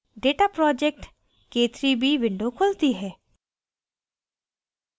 data project – k3b window खुलती है